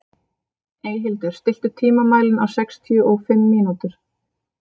Eyhildur, stilltu tímamælinn á sextíu og fimm mínútur.